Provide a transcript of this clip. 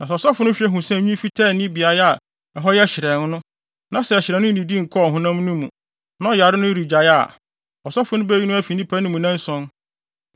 Na sɛ ɔsɔfo no hwɛ hu sɛ nwi fitaa nni beae a ɛhɔ yɛ hyerɛnn no, na sɛ hyerɛnn no nnidi nkɔɔ ɔhonam no mu, na ɔyare no regyae a, ɔsɔfo no beyi no afi nnipa mu nnanson